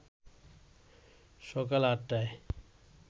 সকাল ৮টায়